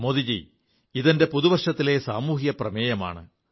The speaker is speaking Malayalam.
മോദിജീ ഇതെന്റെ പുതുവർഷത്തിലെ സാമൂഹിക പ്രമേയമാണ്